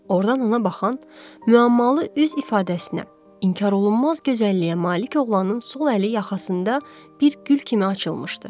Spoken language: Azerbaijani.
Ordan ona baxan müəmmalı üz ifadəsinə, inkar olunmaz gözəlliyə malik oğlanın sol əli yaxasında bir gül kimi açılmışdı.